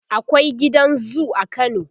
akwai gidan zoo a kano